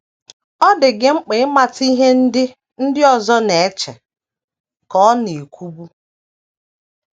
“ Ọ dị gị mkpa ịmata ihe ndị ndị ọzọ na - eche, ” ka ọ na - ekwubu.